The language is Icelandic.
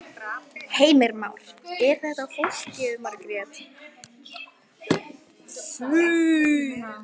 Heimir Már: Er þetta flókið Margrét?